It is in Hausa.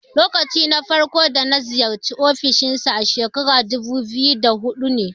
Lokacin farko da na ziyarci ofishin sa a shekarar dubu biyu da huɗu ne.